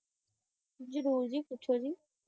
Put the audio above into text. ਜਰੂਰ ਜੀ ਪੁੱਛੋਂ ਜੀ